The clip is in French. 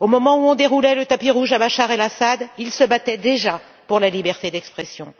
Au moment où on déroulait le tapis rouge à Bachar El Assad, ils se battaient déjà pour la liberté d'expression.